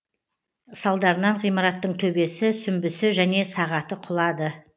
салдарынан ғимараттың төбесі сүмбісі және сағаты құлады